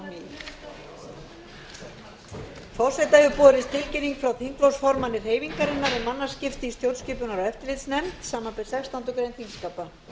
forseta hefur borist tilkynning frá þingflokksformanni hreyfingarinnar um mannaskipti í stjórnskipunar og eftirlitsnefnd samanber sextándu grein þingskapa